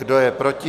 Kdo je proti?